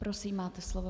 Prosím, máte slovo.